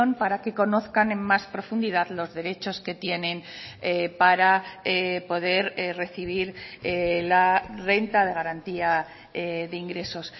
para que conozcan en más profundidad los derechos que tienen para poder recibir la renta de garantía de ingresos